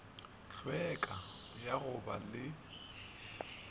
hlweka ya go ba le